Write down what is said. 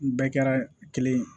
N bɛɛ kɛra kelen ye